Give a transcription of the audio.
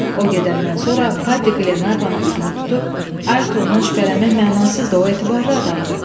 O gedəndən sonra Paddy Glenarvana üzünü tutub, Ayrtondan şübhələnmək mənasızdır, o etibarlı adamdır.